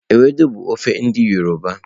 Ewedu bụ ofe ndi yọrọba.